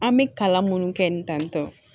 An bɛ kalan minnu kɛ ni tantɔn